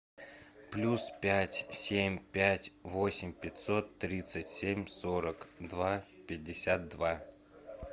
плюс пять семь пять восемь пятьсот тридцать семь сорок два пятьдесят два